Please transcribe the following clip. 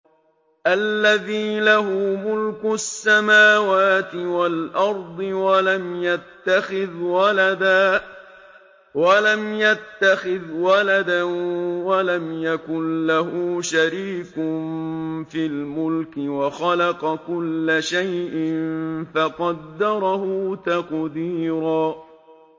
الَّذِي لَهُ مُلْكُ السَّمَاوَاتِ وَالْأَرْضِ وَلَمْ يَتَّخِذْ وَلَدًا وَلَمْ يَكُن لَّهُ شَرِيكٌ فِي الْمُلْكِ وَخَلَقَ كُلَّ شَيْءٍ فَقَدَّرَهُ تَقْدِيرًا